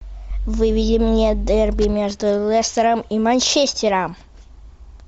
выведи мне дерби между лестером и манчестером